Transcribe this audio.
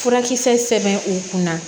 Furakisɛ sɛbɛn u kunna